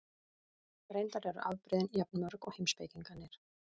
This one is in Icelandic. Reyndar eru afbrigðin jafn mörg og heimspekingarnir.